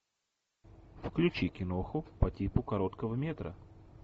включи киноху по типу короткого метра